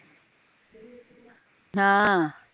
ਹਮ